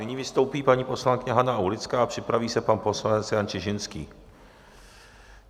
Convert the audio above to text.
Nyní vystoupí paní poslankyně Hana Aulická a připraví se pan poslanec Jan Čižinský.